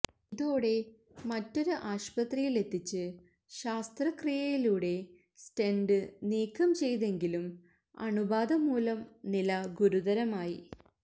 ഇതോടെ മറ്റൊരു ആശുപത്രിയിലെത്തിച്ച് ശസ്ത്രക്രിയയിലൂടെ സ്റ്റെന്റ് നീക്കം ചെയ്തെങ്കിലും അണുബാധമൂലം നില ഗുരുതരമായി